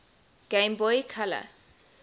game boy color